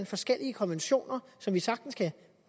forskellige konventioner som vi sagtens kunne